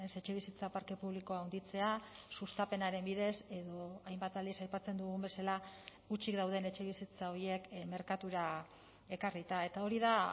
etxebizitza parke publikoa handitzea sustapenaren bidez edo hainbat aldiz aipatzen dugun bezala hutsik dauden etxebizitza horiek merkatura ekarrita eta hori da